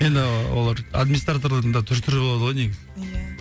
енді олар администраторлардың да түр түрі болады ғой негізі